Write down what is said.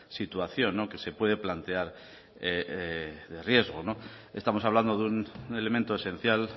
situación que se puede plantear de riesgo estamos hablando de un elemento esencial